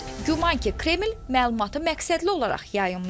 Güman ki, Kreml məlumatı məqsədli olaraq yayımlayıb.